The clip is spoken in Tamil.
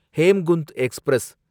ஹேம்குந்த் எக்ஸ்பிரஸ்